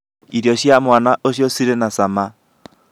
irio cĩa mwana ũcio cirĩ na cama